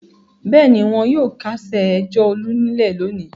Bẹ́ẹ̀ ni, wọn yóò kásẹ̀ ẹjọ́ Olú nílẹ̀ lónìí.